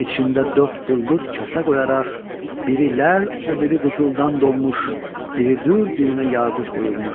İçində dörd billur kasa qoyaraq, biri ləl, o biri qızıldan dolmuş, biri dür, birinə yaqut qoyulmuş.